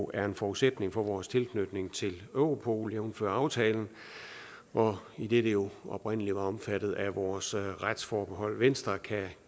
er en forudsætning for vores tilslutning til europol jævnfør aftalen idet det jo oprindelig var omfattet af vores retsforbehold venstre kan